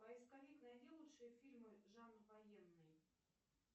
поисковик найди лучшие фильмы жанр военный